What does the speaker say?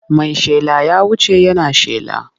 Mai shela ya wuce yana shela.